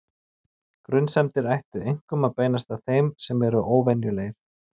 Grunsemdir ættu einkum að beinast að þeim sem eru óvenjulegir.